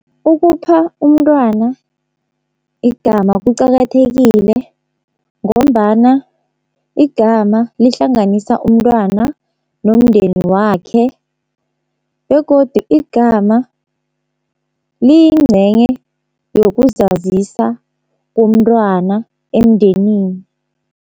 Ukupha umntwana igama kuqakathekile ngombana igama lihlanganisa umntwana nomndeni wakhe begodu igama liyincenye yokuzazisa komntwana emndenini.